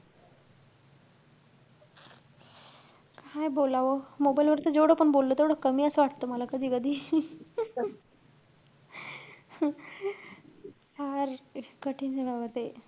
काय बोलावं mobile वर तर जेवढं पण बोललो, तेवढं कमी असं वाटतंय, मला कधी-कधी. फार कठीने बाबा ते.